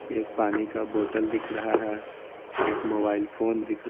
एक पानी का बोटल दिख रहा है एक मोबाइल फोन दिख --